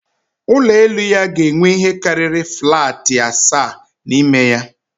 Ụlọ elu ya ga-enwe ihe karịrị flatị asaa n'ime ya